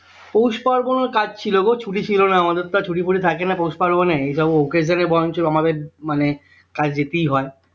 পৌষ পার্বণ ও কাটছিল গো ছুটি ছিলনা আমাদের তো আর ছুটি ফুটি থাকেনা পৌষ পার্বণে এই সব occasion এ বরঞ্চ আমাদের মানে কাজে যেতেই হয়